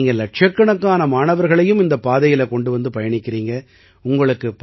இன்னைக்கு நீங்க இலட்சக்கணக்கான மாணவர்களையும் இந்தப் பாதையில கொண்டு வந்து பயணிக்கறீங்க